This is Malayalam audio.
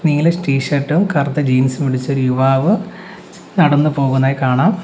നീല ടി ഷർട്ടും കറുത്ത ജീൻസും ഇടിച്ച ഒരു യുവാവ് നടന്നു പോകുന്നതായി കാണാം.